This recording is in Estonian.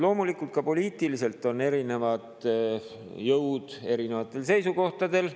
Loomulikult, ka poliitiliselt on erinevad jõud erinevatel seisukohtadel.